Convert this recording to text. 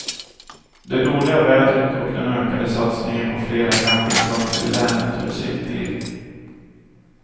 Det dåliga vädret och den ökade satsningen på fler campingplatser i länet gör sitt till.